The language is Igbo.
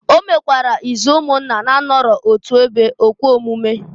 O mekwara izu umunna na-anọrọ otu ebe ekwe omume.